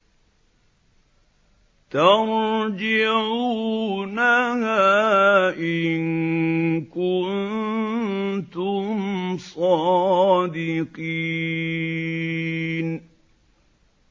تَرْجِعُونَهَا إِن كُنتُمْ صَادِقِينَ